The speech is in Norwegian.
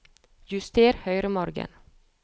Juster høyremargen